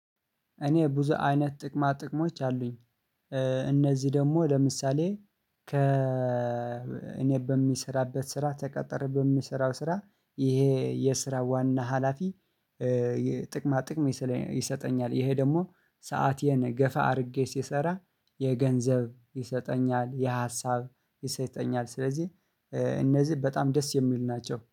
እኔ ብዙ አይነት ጥቅማ ጥቅሞች አሉኝ። እነዚህ ደግሞ ለምሳሌ ከ እኔ በሚሰራበት ስራ ተቀጥሬ በሚሰራው ስራ ይሄ የስራ ዋና ሀላፊ የጥቅማ ጥቅም ይሰጠኛል። ይሄ ደግሞ ሰአቴን ገፋ አድርጌ ሲሰራ የገንዘብ ይሰጠኛል የሀሳብ ይሰጠኛል። ስለዚህ እነዚህ በጣም ደስ የሚሉ ናቸው